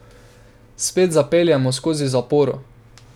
Spet zapeljemo skozi zaporo.